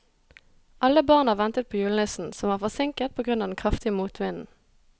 Alle barna ventet på julenissen, som var forsinket på grunn av den kraftige motvinden.